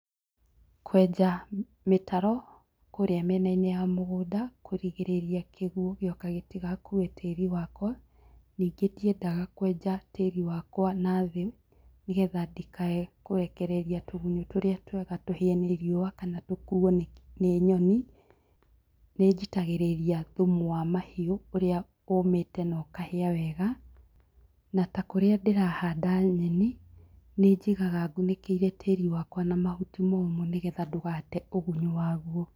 Kwenja mĩtaro kũrĩa mĩenainĩ ya mũgũnda kũrĩgĩrĩria kĩgũo gĩũka gĩtigakue tiĩri wakwa, ningĩ ndĩendaga kwenja tĩrĩ wakwa nathĩ nigetha ndikae kũrekereria tũgunyũ tũria twega tũhĩe nĩ rĩũa kana tũkuo nĩ nyonĩ. Nĩnjĩtagĩrĩrĩa thumu wa mahiũ ũrĩa ũmĩte na ũkahĩa wega, na takũrĩa ndĩrahanda nyenĩ nĩ njĩgaga ngunĩkĩĩre tĩrĩ wakwa na mahutĩ momũ nĩgetha ndũgate ũgunyĩ waguo.